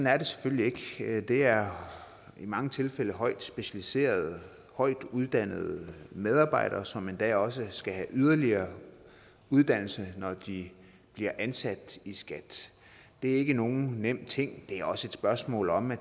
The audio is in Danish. er det selvfølgelig ikke det er i mange tilfælde højt specialiserede højtuddannede medarbejdere som endda også skal have yderligere uddannelse når de bliver ansat i skat det er ikke nogen nem ting det er også et spørgsmål om at